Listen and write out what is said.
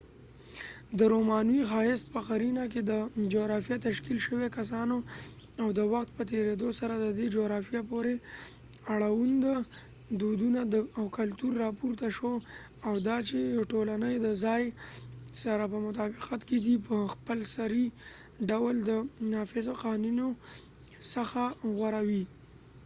د رومانوې ښايست په قـَـرينه کي، د جغرافیه تشکیل شوي کسانو، او د وخت په تیریدو سره د دې جغرافیه پورې اړوند دودونه او کلتور راپورته شو، او دا چې د ټولنې د ځای سره په مطابقت کې دي، په خپل سري ډول د نافذو قوانینو څخه غوره وې۔